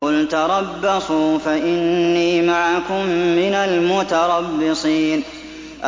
قُلْ تَرَبَّصُوا فَإِنِّي مَعَكُم مِّنَ الْمُتَرَبِّصِينَ